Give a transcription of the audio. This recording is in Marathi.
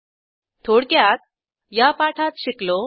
थोडक्यात या पाठात शिकलो 1